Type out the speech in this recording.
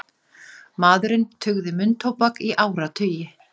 Maðurinn tuggði munntóbak í áratugi